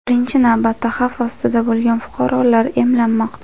birinchi navbatda xavf ostida bo‘lgan fuqarolar emlanmoqda.